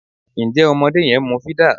Ǹjẹ́ ọmọdé yẹn ń mú fídà?